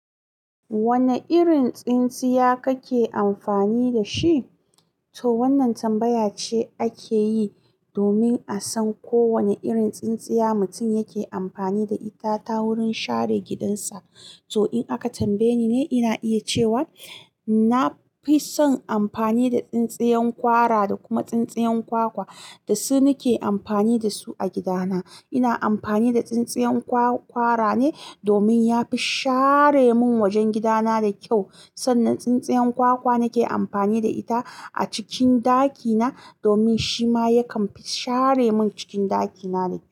Wane irin tsintsiya kake amfani da shi? To wannan tambaya ce ake yi domin a san ko wane irin tsintsiya mutum yake amfani da ita ta wurin share gidansa. To in aka tambaye ni ne, ina iya cewa na fi son amfani da tsintsiyan kwara da kuma tsintsiyan kwakwa. Da su nake amfani da su a gidana. Ina amfani da tsintsiyan kwar-kwarane domin ya fi share mun wajen gidana da kyau. Sannan tsintsiyan kwakwa nake amfani da ita a cikin ɗakina domin shi ma yakan fi share mun cikin ɗakina da kyau.